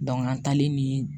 an taalen ni